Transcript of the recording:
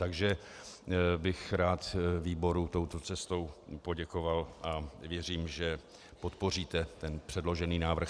Takže bych rád výboru touto cestou poděkoval a věřím, že podpoříte ten předložený návrh.